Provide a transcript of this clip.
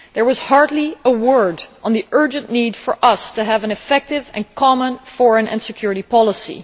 There was hardly a word on the urgent need for us to have an effective and common foreign and security policy.